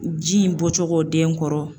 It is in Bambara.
Ji in bɔcogo den kɔrɔ